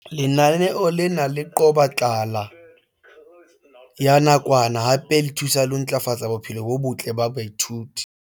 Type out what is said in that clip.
Lenaneo lena le qoba tlala ya nakwana hape le thusa ho ntlafatsa bophelo bo botle ba baithuti.